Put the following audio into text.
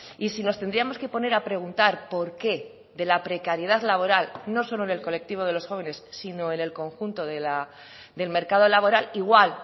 y si nos tendríamos que poner a preguntar por qué de la precariedad laboral no solo en el colectivo de los jóvenes sino en el conjunto del mercado laboral igual